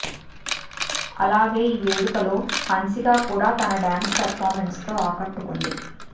అలాగే ఈ వేడుకలో హన్సిక కూడా తన డాన్స్ పెర్ఫార్మన్స్ తో ఆకట్టుకుంది